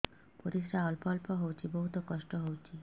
ପରିଶ୍ରା ଅଳ୍ପ ଅଳ୍ପ ହଉଚି ବହୁତ କଷ୍ଟ ହଉଚି